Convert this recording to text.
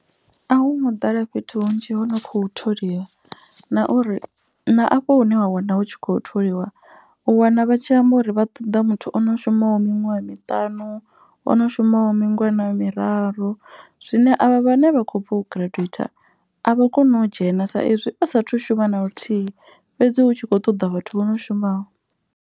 A hu ngo ḓala fhethu hunzhi ho no khou tholiwa, na uri na afho hune wa wana hu tshi khou tholiwa. U wana vha tshi amba uri vha ṱoḓa muthu ono shumaho miṅwaha miṱanu ono shumaho mingana miraru. Zwine avha vhane vha kho bva u giradzhueitha avha koni u dzhena sa izwi u sathu shuma naluthihi fhedzi hu tshi kho ṱoḓa vhathu vho no shumaho.